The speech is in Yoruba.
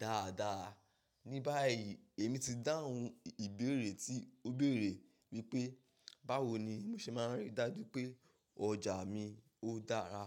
dáadáa. Ni báyìí èmi ti dáhùn ìbéèrè tí ó béèrè wípé, báwo ni mo ṣe máa ń rí dájú pé ọjà mi ó dára?